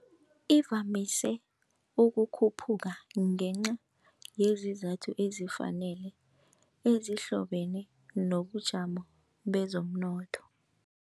Ivamise ukukhuphuka ngenca yezizathu ezifanele ezihlobene nobujamo bezomnotho.